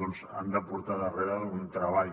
doncs han de portar darrere un treball